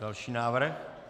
Další návrh.